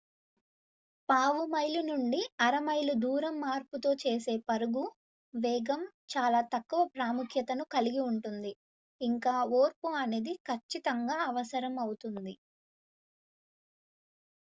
పావు మైలు నుండి అర మైలు దూరం మార్పుతో చేసే పరుగు వేగం చాలా తక్కువ ప్రాముఖ్యతను కలిగి ఉంటుంది ఇంకా ఓర్పు అనేది ఖచ్చితంగా అవసరం అవుతుంది